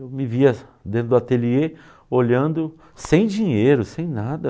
Eu me via dentro do ateliê olhando sem dinheiro, sem nada.